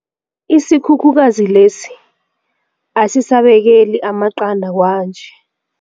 Isikhukhukazi lesi asisabekeli amaqanda kwanje.